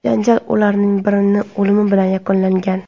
Janjal ulardan birining o‘limi bilan yakunlangan.